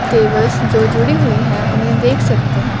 दिवस जो जुड़ी हुई है उन्हें देख सकते हैं।